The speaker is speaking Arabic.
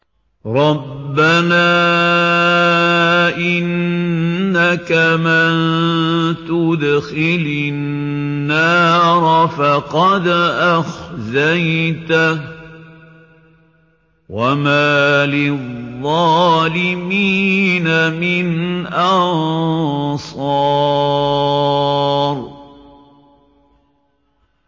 رَبَّنَا إِنَّكَ مَن تُدْخِلِ النَّارَ فَقَدْ أَخْزَيْتَهُ ۖ وَمَا لِلظَّالِمِينَ مِنْ أَنصَارٍ